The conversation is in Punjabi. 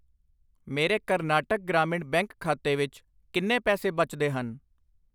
ਮੇਰੇ ਕਰਨਾਟਕ ਗ੍ਰਾਮੀਣ ਬੈਂਕ ਖਾਤੇ ਵਿੱਚ ਕਿੰਨੇ ਪੈਸੇ ਬਚਦੇ ਹਨ?